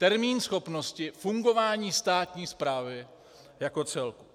Termín schopnosti fungování státní správy jako celku.